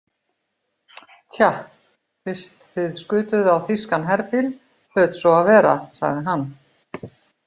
Tja, fyrst þið skutuð á þýskan herbíl hlaut svo að vera, sagði hann.